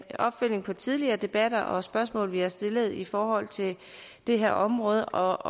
opfølgning på tidligere debatter og spørgsmål vi har stillet i forhold til det her område og